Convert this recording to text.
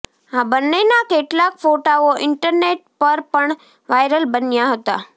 આ બ્ન્નેના કેટલાક ફોટાઓ ઇન્ટરનેટ પર પણ વાયરલ બન્યા હતા